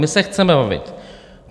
My se chceme bavit.